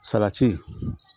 Salati